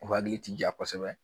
U hakili ti ja kosɛbɛ